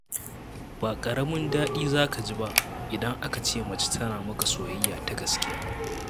Ba ƙaramin daɗi za ka ji ba, idan aka ce mace tana maka soyayya ta gaskiya.